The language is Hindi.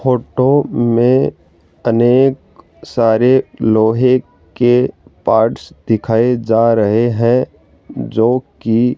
फोटो में अनेक सारे लोहे के पार्ट्स दिखाए जा रहे हैं जो की --